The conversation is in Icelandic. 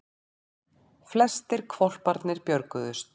Flestir hvolparnir björguðust